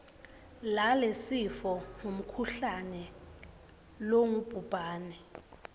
lalesifo ngumkhuhlane longubhubhane